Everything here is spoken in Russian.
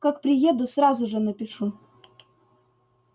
как приеду сразу же напишу